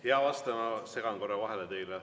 Hea vastaja, ma segan korra teile vahele.